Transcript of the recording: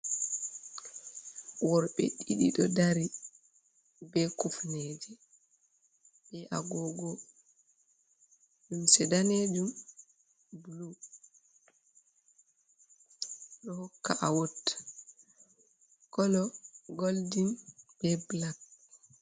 Worbe ɗiɗi ɗo ɗari be kufneje. Be agogo lemse nɗanejum, bulu. Bedo hokka awott. kolo goldin be bulak.